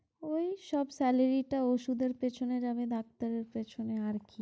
এই সব salary টা ঔষুধের পেছনে যাবে ডাক্তারের পেছনে, আর কি